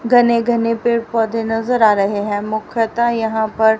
घने घने पेड़ पौधे नजर आ रहे हैं मुख्यतः यहां पर--